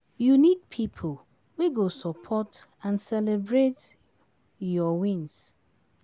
You need people wey go support and celebrate your wins.